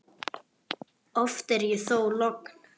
Oft er þó logn.